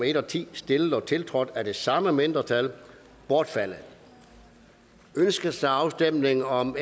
en og ti stillet og tiltrådt af de samme mindretal bortfaldet ønskes afstemning om